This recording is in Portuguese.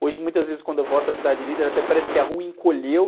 Hoje, muitas vezes, quando eu volto à Cidade Líder, até parece que a rua encolheu.